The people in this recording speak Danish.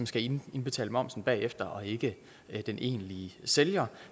skal indbetale momsen bagefter og ikke den egentlige sælger